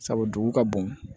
Sabu dugu ka bon